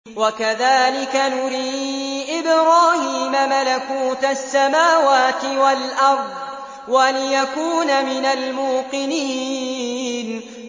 وَكَذَٰلِكَ نُرِي إِبْرَاهِيمَ مَلَكُوتَ السَّمَاوَاتِ وَالْأَرْضِ وَلِيَكُونَ مِنَ الْمُوقِنِينَ